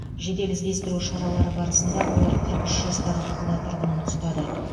жедел іздестіру шаралары барысында олар қырық үш жастағы қала тұрғынын ұстады